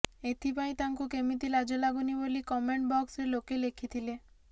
ଏଥିପାଇଁ ତାଙ୍କୁ କେମିତି ଲାଜ ଲାଗୁନି ବୋଲି କମେଣ୍ଟ ବକ୍ସରେ ଲୋକେ ଲେଖିଥିଲେ